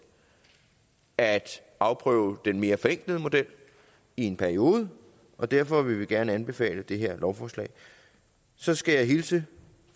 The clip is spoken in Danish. at afprøve den mere forenklede model i en periode og derfor vil vi gerne anbefale det her lovforslag så skal jeg hilse